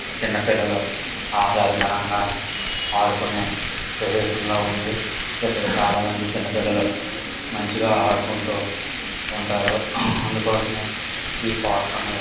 చిన్న పిల్లలు ఆహ్లాదకరంగా ఆడుకునే ప్రదేశంలా ఉంది. ఇక్కడ చాలా మంది చిన్న పిల్లలు మంచిగా ఆడుకుంటూ ఉంటారు అందుకోసమే ఈ పార్క్ అనేది--